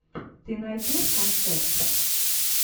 ты найдешь концерт